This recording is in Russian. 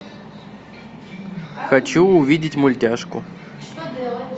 хочу увидеть мультяшку